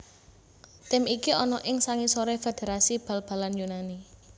Tim iki ana ing sangisoré Federasi Bal balan Yunani